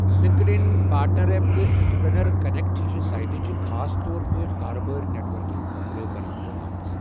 Linked ان، partner up, تہٕ entrepreneur connect ہِش سائٹہٕ چھِ خاص طور پٲٹھۍ کارٕبٲرۍ نیٹ ورکنگ خٲطرٕ بَناونہٕ آمٕژ۔